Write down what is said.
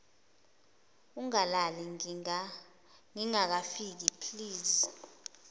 ungalali ngingakafiki please